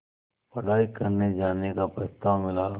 पढ़ाई करने जाने का प्रस्ताव मिला